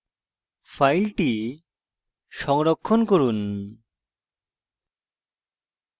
file সংরক্ষণ করুন